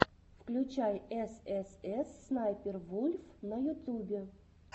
включай эс эс эс снайпер вульф на ютубе